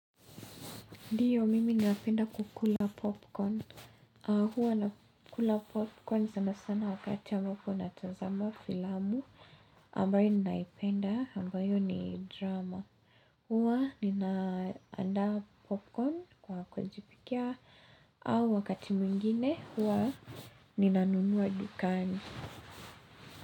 Ndiyo, mimi ninapenda kukula popcorn. Hua nakula popcorn sana sana wakati ambapo natazama filamu ambayo ninaipenda ambayo ni drama. Hua ninaandaa popcorn kwa kujipikia au wakati mwingine hua ninanunua dukani.